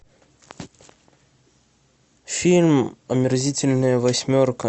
фильм омерзительная восьмерка